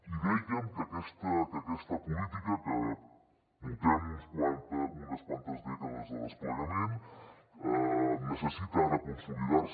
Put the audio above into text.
i dèiem que aquesta política que portem unes quantes dècades de desplegament necessita ara consolidar se